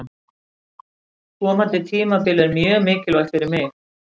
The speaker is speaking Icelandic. Komandi tímabil er mjög mikilvægt fyrir mig.